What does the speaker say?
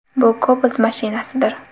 Bu Cobalt mashinasidir.